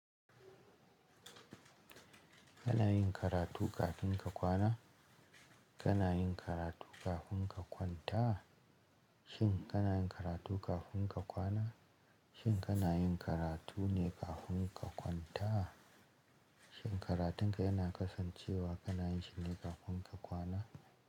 Kana yin karatu kafin ka kwana? Kana yin karatu kafin ka kwanta? Shin kana yin karatu kafin ka kwana? Shin kana yin karatu ne kafin ka kwanta? Shin karatunka yana kasancewa kana yin shi ne kafin ka kwana?